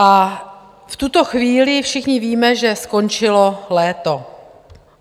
A v tuto chvíli všichni víme, že skončilo léto.